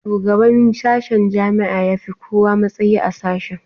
Shugaban sashen jami'a ya fi kowa matsayi a sashe